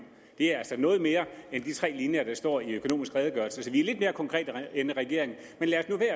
det er altså noget mere end de tre linjer der står i økonomisk redegørelse så vi er lidt mere konkrete end regeringen men lad